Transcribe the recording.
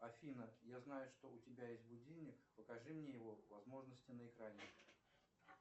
афина я знаю что у тебя есть будильник покажи мне его возможности на экране